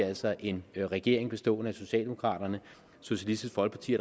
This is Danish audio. altså en regering bestående af socialdemokraterne socialistisk folkeparti